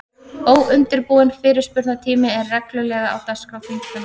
Óundirbúinn fyrirspurnatími er reglulega á dagskrá þingfunda.